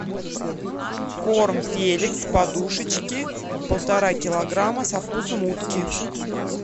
корм феликс подушечки полтора килограмма со вкусом утки